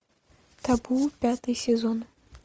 табу пятый сезон